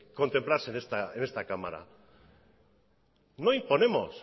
contemplarse en esta cámara no imponemos